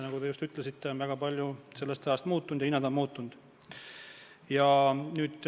Nagu te just ütlesite, väga palju on sellest ajast muutunud ja ka hinnad on muutunud.